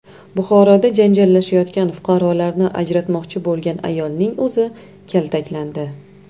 Buxoroda janjallashayotgan fuqarolarni ajratmoqchi bo‘lgan ayolning o‘zi kaltaklandi.